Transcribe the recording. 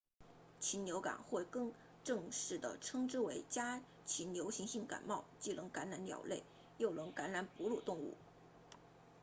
禽流感或更正式地称之为家禽流行性感冒既能感染鸟类又能感染哺乳动物